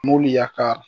Mobili ya ka